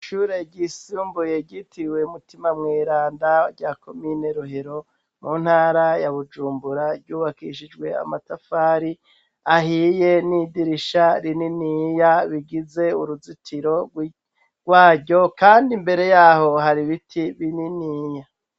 Ishure ryisumbuye ryitiriwe Mutima Mweranda rya Komine Rohero mu ntara ya Bujumbura, ryubakishijwe amatafari ahiye, n'idirisha rininiya bigize uruzitiro rwaryo, kandi imbere yaho hari biti bininiya.